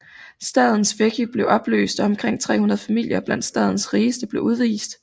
Stadens veche blev opløst og omkring 300 familier blandt stadens rigeste blev udvist